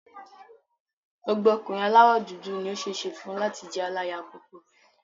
Gbogbo ọkùnrin aláwọ̀ dúdú ni ó ṣeé ṣe fún láti jẹ́ aláya púpọ̀.